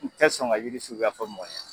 U tɛ sɔn ka jiri suguya fɔ mɔgɔ ɲɛna